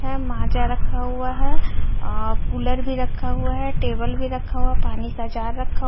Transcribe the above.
है माजा रखा हुआ है अ कूलर भी रखा हुआ है टेबल भी रखा हुआ पानी का जार रखा हुआ--